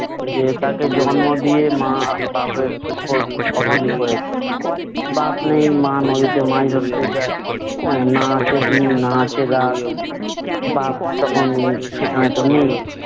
যে তাকে জন্ম দিয়ে মা-বাপের করে দিল । বাপ নেই, মা নদীতে মাছ ধরতে যায়। না আছে দিন না আছে রাত, বাপ তখন সেখানেতো নেই।